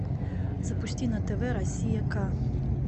запусти на тв россия к